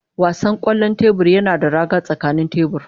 Wasan kwallon tebur yana da raga a tsakanin tebur.